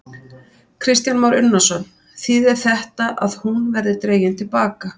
Kristján Már Unnarsson: Þýðir þetta að hún verði dregin til baka?